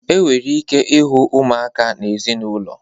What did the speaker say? E nwere ike ịhụ ụmụaka na ezinaụlọ.